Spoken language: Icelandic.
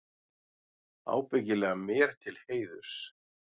Ábyggilega mér til heiðurs.